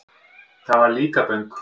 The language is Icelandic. Það var Líkaböng.